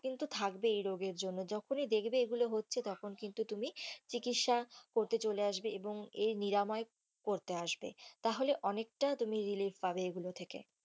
কিন্তু থাকবেই এই রোগের জন্য যখনি দেখবে এগুলো হচ্ছে তখন কিন্তু তুমি চিকিৎসা করতে চলে আসবে এবং আর নিরাময় করতে আসবে তাহলে অনেকটা তুমি relief পাবে এই গুলো থেকে,